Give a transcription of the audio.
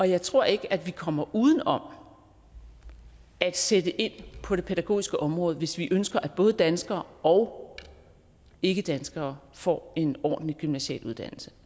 jeg tror ikke at vi kommer uden om at sætte ind på det pædagogiske område hvis vi ønsker at både danskere og ikkedanskere får en ordentlig gymnasial uddannelse